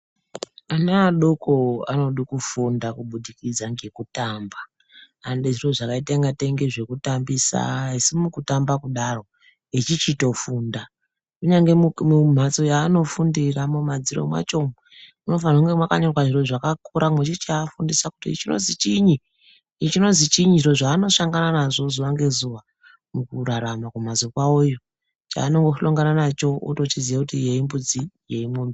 Ana adokoko anoda kufunda Kubudikidza ngekutamba. Anoda zviro zvakaite sezvekutambisa asi mukutamba kudaro vechichitofunda. Kunyangwe mumhatso mweanofundira mumadziro macho umo munofanirwe kunge makanyorwa zvakakura vechifundiswa kuti ichi chiini, ichi chinozwi chiini zviro zvaanosangana nazvo zuwa ngezuwa mukurarama kumamhatso kwavo. Chaanoshongana nacho eichitoziya kuti iyo imbudzi, iyo imombe.